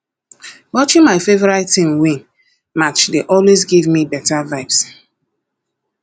watching my favorite team win match dey always give me um beta vibes